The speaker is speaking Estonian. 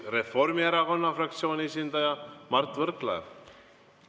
Reformierakonna fraktsiooni esindaja Mart Võrklaev.